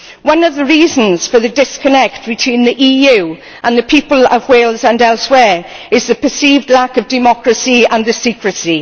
One of the reasons for the disconnect between the EU and the people of Wales and elsewhere is the perceived lack of democracy and the secrecy.